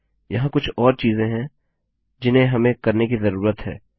यहाँ कुछ और चीजें हैं जिन्हें हमें करने की जरूरत है